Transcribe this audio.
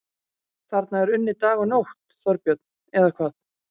Þarna er unnið dag og nótt, Þorbjörn, eða hvað?